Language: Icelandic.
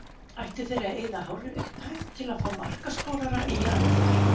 Ættu þeir að eyða hárri upphæð til að fá markaskorara í janúar?